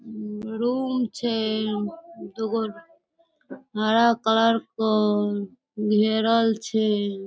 Room छै दू गो हरा कलर कोअ घेरल छै।